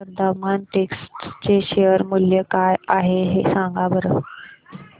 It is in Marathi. आज वर्धमान टेक्स्ट चे शेअर मूल्य काय आहे सांगा बरं